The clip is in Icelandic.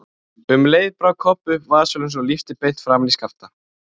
Um leið brá Kobbi upp vasaljósinu og lýsti beint framan í Skapta.